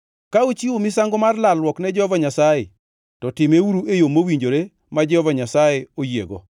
“ ‘Ka uchiwo misango mar lalruok ne Jehova Nyasaye, to timeuru e yo mowinjore ma Jehova Nyasaye oyiego.